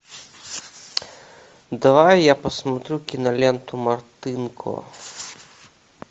давай я посмотрю киноленту мартынко